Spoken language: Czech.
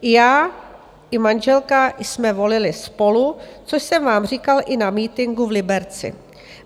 Já i manželka jsme volili SPOLU, což jsem vám říkal i na mítinku v Liberci.